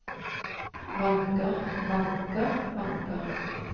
vanker vanker vanker